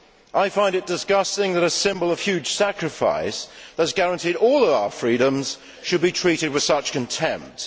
I find it disgusting that a symbol of the huge sacrifice that has guaranteed all our freedoms should be treated with such contempt.